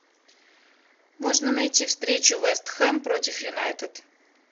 можно найти встречу вест хэм против юнайтед